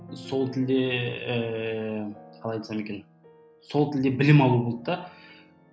сол тілде ііі қалай айтсам екен сол тілде білім алу болды да